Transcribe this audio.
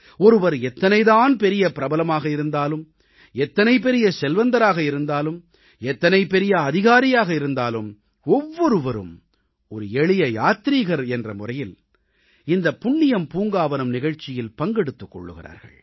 ஒருவர் எத்தனை தான் பெரிய பிரபலமாக இருந்தாலும் எத்தனை பெரிய செல்வந்தராக இருந்தாலும் எத்தனை பெரிய அதிகாரியாக இருந்தாலும் ஒவ்வொருவரும் ஒரு எளிய யாத்ரீகர் என்ற வகையில் இந்த புண்ணியம் பூங்காவனம் நிகழ்ச்சியில் பங்கெடுத்துக் கொள்கிறார்கள்